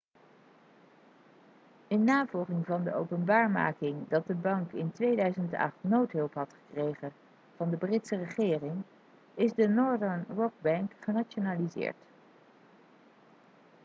in navolging van de openbaarmaking dat de bank in 2008 noodhulp had gekregen van de britse regering is de northern rock-bank genationaliseerd